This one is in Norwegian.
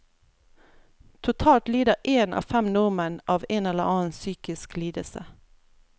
Totalt lider en av fem nordmenn av en eller annen psykisk lidelse.